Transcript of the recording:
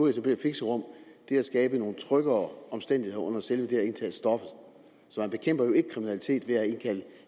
at etablere fixerum er at skabe nogle tryggere omstændigheder under selve det at indtage stoffet så man bekæmper jo ikke kriminalitet ved at